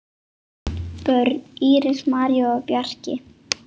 Börn: Íris, María og Bjarki.